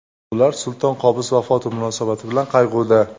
Ular Sulton Qobus vafoti munosabati bilan qayg‘uda.